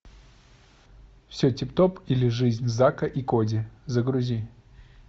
все тип топ или жизнь зака и коди загрузи